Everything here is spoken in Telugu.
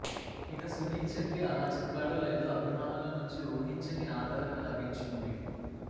ఇక సునీల్ ఛెత్రి అలా చెప్పాడో లేదో అభిమానుల నుంచి ఊహించని ఆదరణ లభించింది